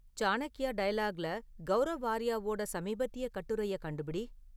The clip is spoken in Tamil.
சாணக்யா டயலாக்ல கௌரவ் ஆர்யாவோட சமீபத்திய கட்டுரையக் கண்டுபிடி